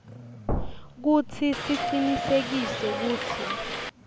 kutsi sicinisekise kutsi